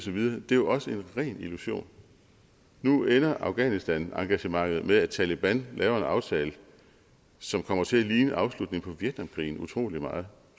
videre er jo også en ren illusion nu ender afghanistanengagementet med at taleban laver en aftale som kommer til at ligne afslutningen vietnamkrigen utrolig meget